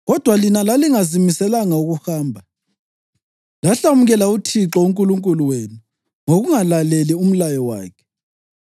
“Kodwa lina lalingazimiselanga ukuhamba; lahlamukela uThixo uNkulunkulu wenu ngokungalaleli umlayo wakhe.